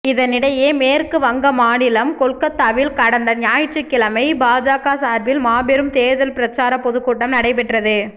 இதனிடையே மேற்கு வங்க மாநிலம் கொல்கத்தாவில் கடந்த ஞாயிற்றுக்கிழமை பாஜக சார்பில் மாபெரும் தேர்தல் பிரச்சார பொதுக்கூட்டம் நடைபெற்றது